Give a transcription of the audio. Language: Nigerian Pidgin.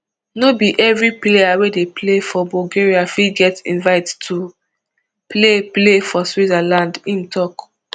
no be evri player wey dey play for bulgaria fit get invite to play play for switzerland im tok